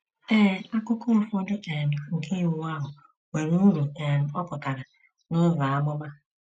Ee, akụkụ ụfọdụ um nke Iwu ahụ nwere uru um ọ pụtara n'ụzọ amụma.